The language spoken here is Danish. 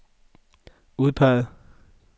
udpeget